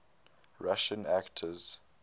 russian actors